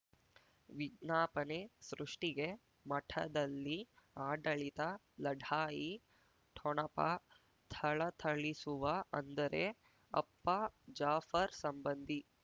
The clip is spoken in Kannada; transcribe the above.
ವಿಜ್ಞಾಪನೆ ಸೃಷ್ಟಿಗೆ ಮಠದಲ್ಲಿ ಆಡಳಿತ ಲಢಾಯಿ ಠೊಣಪ ಥಳಥಳಿಸುವ ಅಂದರೆ ಅಪ್ಪ ಜಾಫರ್ ಸಂಬಂಧಿ